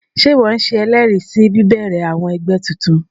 Sé ìwo se elèèrí sí bíbèrè àwon egbé titun?